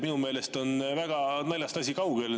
Minu meelest on asi naljast väga kaugel.